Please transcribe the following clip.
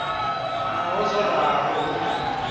naho zwo ralo hu na